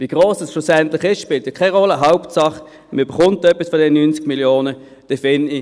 Wie gross es schlussendlich ist, spielt keine Rolle, Hauptsache, man erhält etwas von diesen 90 Mio. Franken.